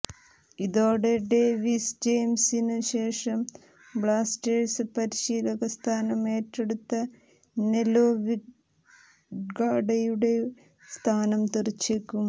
ഇതോടെ ഡേവിഡ് ജെയിംസിനു ശേഷം ബ്ലാസ്റ്റേഴ്സ് പരിശീലക സ്ഥാനം ഏറ്റെടുത്ത നെലോ വിന്ഗാഡയുടെ സ്ഥാനം തെറിച്ചേക്കും